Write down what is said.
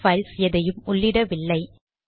PS files எதையும் உள்ளிடவில்லை